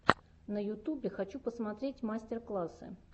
на ютубе хочу посмотреть мастер классы